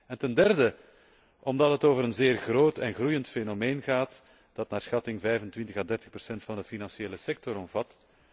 En ten derde gaat het over een zeer groot en groeiend fenomeen dat naar schatting 25 à 30 van de financiële sector omvat.